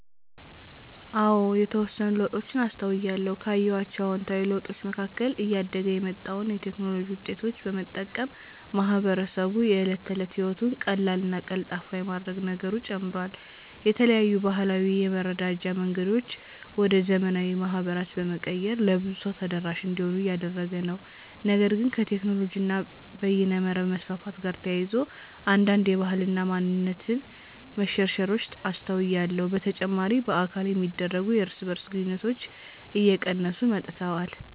አዎ የተወሰኑ ለውጦችን አስተውያለሁ። ካየኋቸው አዉንታዊ ለውጦች መካከል እያደገ የመጣውን የቴክኖሎጂ ዉጤቶች በመጠቀም ማህበረሰቡ የእለት ተለት ህይወቱን ቀላልና ቀልጣፋ የማድረግ ነገሩ ጨምሯል። የተለያዩ ባህላዊ የመረዳጃ መንገዶችን ወደ ዘመናዊ ማህበራት በመቀየር ለብዙ ሰው ተደራሽ እንዲሆኑ እያደረገ ነው። ነገር ግን ከቴክኖሎጂ እና በይነመረብ መስፋፋት ጋር ተያይዞ አንዳንድ የባህል እና ማንነት መሸርሸሮች አስተውያለሁ። በተጨማሪ በአካል የሚደረጉ የእርስ በእርስ ግንኙነቶች እየቀነሱ መጥተዋል።